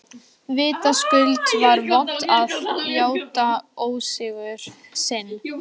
Vitaskuld var vont að játa ósigur sinn.